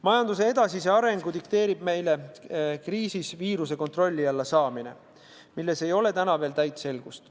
Majanduse edasise arengu dikteerib meile viiruse kontrolli alla saamine, milles täna ei ole veel täit selgust.